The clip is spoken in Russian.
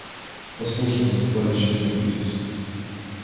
послушай наступает очередной кризис